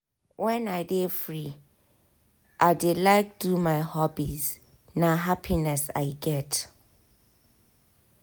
when i dey free i dey like do my hobbies na happiness i get.